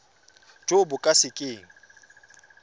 jo bo ka se keng